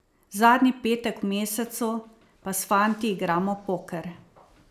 Zadnji petek v mesecu pa s fanti igramo poker.